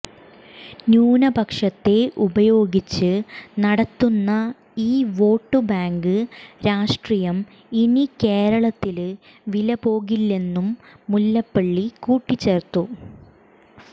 ന്യൂനപക്ഷത്തെ ഉപയോഗിച്ച് നടത്തുന്ന ഈ വോട്ടുബാങ്ക് രാഷ്ട്രീയം ഇനി കേരളത്തില് വിലപ്പോകില്ലെന്നും മുല്ലപ്പള്ളി കൂട്ടിച്ചേര്ത്തു